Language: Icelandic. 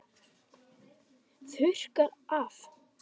Þurrka af.